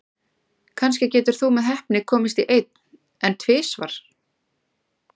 Kannski getur þú með heppni komist í einn, en tvisvar?